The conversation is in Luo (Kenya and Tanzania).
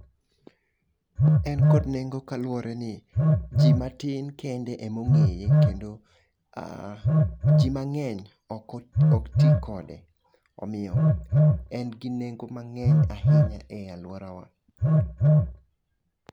En kod nengo kaluwore ni, ji matin kende ema ongéye, kendo um ji mangény ok ti kode, omiyo en gi nengo mangény ahinya e alwora wa.